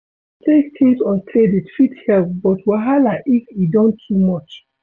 To take things on credit fit help but wahala if e don too much